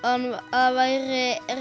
það væri